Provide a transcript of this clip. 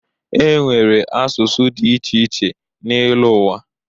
E nwere asụsụ dị iche iche n'elu ụwa.